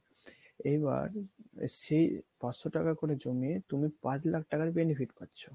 এইবার সেই পাঁচশ টাকা করে জমিয়ে তুমি পাঁচ লাখ টাকার benefit পাচ্ছ